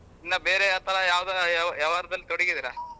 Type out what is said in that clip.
ಇನ್ನಾ ಬೇರೆ ಯಾವ್ದಾರ ವ್ಯವಹಾರದಲ್ಲಿ ತೊಡಗಿದಿರಾ?